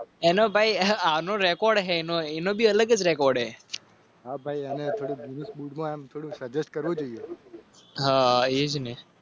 એનો ભાઈ આનો રેકોર્ડ છેહા ભાઈ